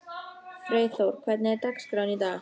Freyþór, hvernig er dagskráin í dag?